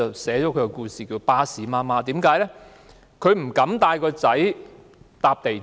蘇太被稱為"巴士媽媽"，因為她不敢帶兒子乘坐港鐵。